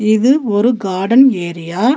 இது ஒரு garden area .